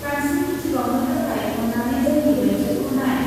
बांसिन मिथिबावनो थाखाय अन्नानै जोंनि वेबसाइटखौ नाय।